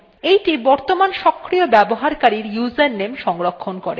এইটি বর্তমানের সক্রিয় ব্যবহারকারীর username সংরক্ষণ করে